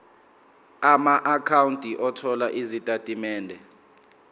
amaakhawunti othola izitatimende